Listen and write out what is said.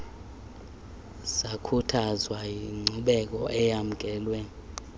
zakhuthazwa yinkcubeko eyamkelwe